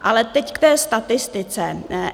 Ale teď k té statistice.